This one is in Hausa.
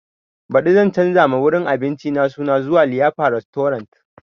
Baɗi zan canza ma wurin abincin nan suna zuwa liyafa restorant